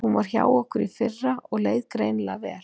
Hún var hjá okkur í fyrra og leið greinilega vel.